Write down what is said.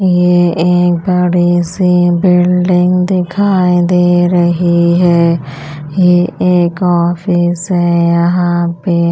ये एक बड़ी सी बिल्डिंग दिखाई दे रही है ये एक ऑफिस है यहाँ पे --